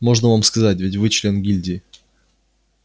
можно вам сказать ведь вы член гильдии